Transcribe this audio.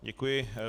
Děkuji.